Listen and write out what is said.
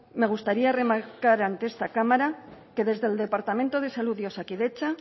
me gustaría remarcar ante esta cámara que desde el departamento de salud y osakidetza